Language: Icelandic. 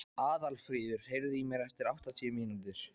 Aðalfríður, heyrðu í mér eftir áttatíu mínútur.